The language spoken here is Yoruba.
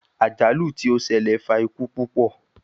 Ajalu ti o ṣẹlẹ fa iku pupọ